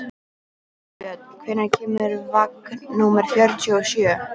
Herbjörn, hvenær kemur vagn númer fjörutíu og sjö?